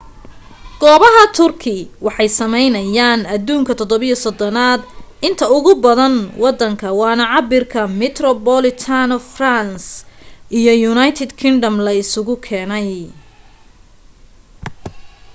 goobaha turkey waxay sameyeynayaan aduunka 37 aad inta ugu badan wadanka waana cabirka metropolitan france iyo united kingdom la isu keenay